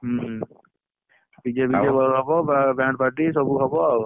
ହୁଁ dj fj ସବୁ ହବ band party ସବୁ ହବ ଆଉ